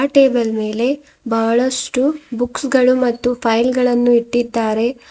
Table ಮೇಲೆ ಬಹಳಷ್ಟು books ಗಳು ಮತ್ತು ಫೈಲ್ ಗಳನ್ನು ಇಟ್ಟಿದ್ದಾರೆ.